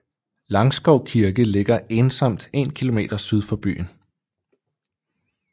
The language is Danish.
Langskov Kirke ligger ensomt 1 km syd for byen